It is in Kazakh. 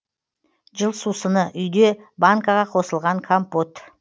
жыл сусыны үйде банкаға басылған компот